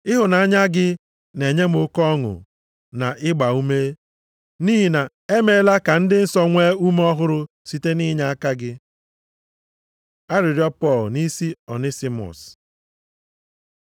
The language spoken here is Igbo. Ịhụnanya gị na-enye m oke ọṅụ na ịgbaume, ezi nwanna m, nʼihi na emeela ka ndị nsọ nwee ume ọhụrụ site nʼinyeaka gị. Arịrịọ Pọl nʼisi Onisimọs